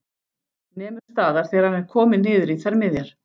Nemur staðar þegar hann er kominn niður í þær miðjar.